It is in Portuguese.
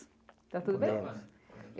Tá tudo bem?